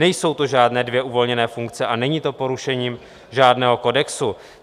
Nejsou to žádné dvě uvolněné funkce a není to porušením žádného kodexu.